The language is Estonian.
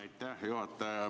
Aitäh, juhataja!